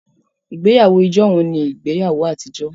Ìgbéyàwó ijohun ní ìgbéyàwó àtijọ́